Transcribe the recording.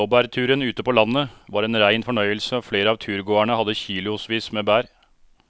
Blåbærturen ute på landet var en rein fornøyelse og flere av turgåerene hadde kilosvis med bær.